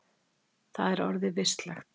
Það er orðið vistlegt.